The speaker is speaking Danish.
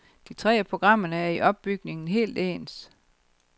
De tre af programmerne er i opbygningen helt ens.